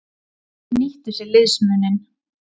Þeir nýttu sér liðsmuninn.